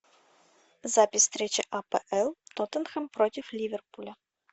запись встречи апл тоттенхэм против ливерпуля